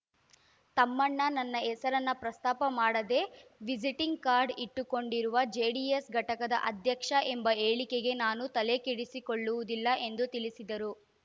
ತಮ್ಮಣ್ಣ ನನ್ನ ಹೆಸರನ್ನ ಪ್ರಸ್ತಾಪ ಮಾಡದೆ ವಿಸಿಟಿಂಗ್ ಕಾರ್ಡ್ ಇಟ್ಟುಕೊಂಡಿರುವ ಜೆಡಿಎಸ್ ಘಟಕದ ಅಧ್ಯಕ್ಷ ಎಂಬ ಹೇಳಿಕೆಗೆ ನಾನು ತಲೆ ಕೆಡಿಸಿಕೊಳ್ಳುವುದಿಲ್ಲ ಎಂದು ತಿಳಿಸಿದರು